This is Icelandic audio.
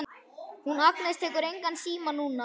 Hún Agnes tekur engan síma núna.